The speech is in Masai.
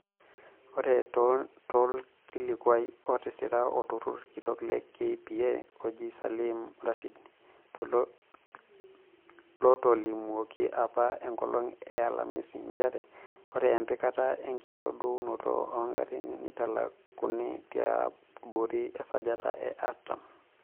Ore tolkilikuai otisira olautaroni kitok le KPA ojii Salim Rashid lotolimuoki apa enkolong e alamisi, njere ore empikata we nkitadounoto oogarin neitalakuni tiabori esajati e artam.